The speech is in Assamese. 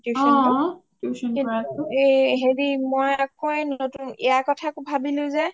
হেৰি মই আকৌ নতুন ইয়াৰ কথা ভাবিলো যে